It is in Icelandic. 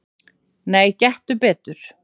"""Nei, gettu betur"""